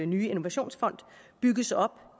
nye innovationsfond bygges op